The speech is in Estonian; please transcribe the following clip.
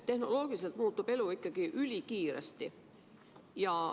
Tehnoloogiliselt muutub elu ikka ülikiiresti.